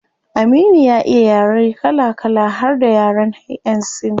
Aminu ya iya yaren kala kala har da yaren yan sin